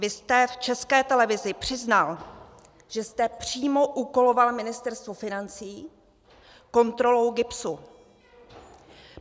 Vy jste v České televizi přiznal, že jste přímo úkoloval Ministerstvo financí kontrolou GIBS.